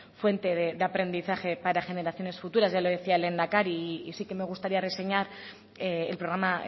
fuente de aprendizaje para generaciones futuras ya lo decía el lehendakari y sí que me gustaría reseñar el programa